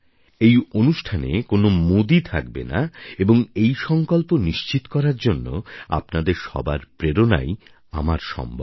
এই অনুষ্ঠানে কোনও মোদি শব্দ থাকবে না এবং এই সঙ্কল্প নিশ্চিত করার জন্য আপনাদের সবার প্রেরণাই আমার সম্বল